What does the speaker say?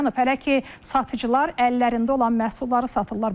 Hələ ki satıcılar əllərində olan məhsulları satırlar.